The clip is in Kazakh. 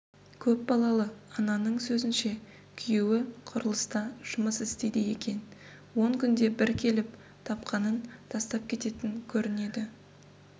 көпбалалы ананың сөзінше күйеуі құрылыста жұмыс істейді екен он күнде бір келіп тапқанын тастап кететін көрінеді